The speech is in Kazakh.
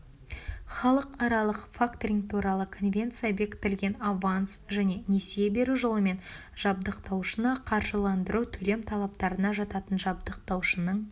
халықаралық факторинг туралы конвенция бекітілген аванс және несие беру жолымен жабдықтаушыны қаржыландыру төлем талаптарына жататын жабдықтаушының